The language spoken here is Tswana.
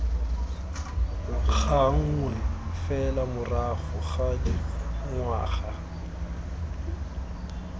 gangwe fela morago ga dingwaga